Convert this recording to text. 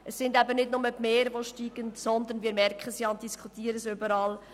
Es sind nicht nur die Meere, deren Spiegel steigen, sondern wir merken und diskutieren es überall: